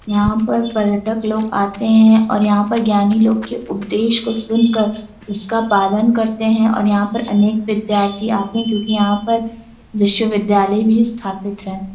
यहां पर पर्यटक लोग आते हैं और यहां पर ज्ञानी लोगों के उपदेश को सुनकर उसका पालन करते हैं करते हैं और यहां पर अनेक विद्यार्थी आते हैं क्यूकि यहां पर विश्वविद्यालय भी स्थापित हैं|